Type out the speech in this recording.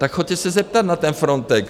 Tak jděte se zeptat na ten Frontex.